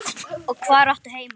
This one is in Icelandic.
Og hvar áttu heima?